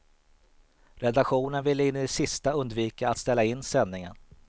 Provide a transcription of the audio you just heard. Redaktionen ville in i det sista undvika att ställa in sändningen.